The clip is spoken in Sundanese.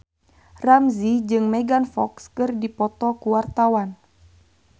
Ramzy jeung Megan Fox keur dipoto ku wartawan